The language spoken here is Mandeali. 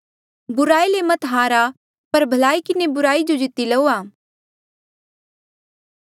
बुराई ले मत हारा पर भलाई किन्हें बुराई जो जीती लऊआ